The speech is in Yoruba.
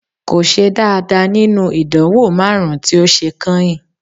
Kò ṣe dáadáa nínú ìdánwò márùn-ún tí ó ṣe kányìn